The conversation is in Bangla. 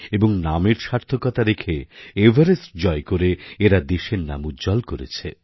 এবং নামের সার্থকতা রেখে এভারেস্ট জয় করে এরা দেশের নাম উজ্জ্বল করেছে